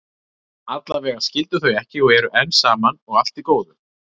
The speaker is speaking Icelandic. Allavega skildu þau ekki og eru enn saman, og allt í góðu.